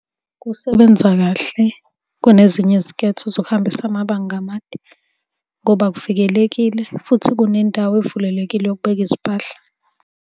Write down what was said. Kusebenza kahle kunezinye izinketho zokuhambisa amabanga amade, ngoba kuvikelekile futhi kunendawo evulelekile yokubeka izimpahla.